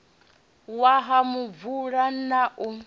wa ha muvula na u